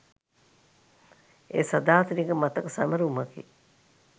එය සදාතනික මතක සැමරුමකි.